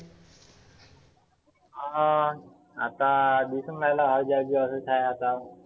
हं आता मी पण आहेना आहे आता.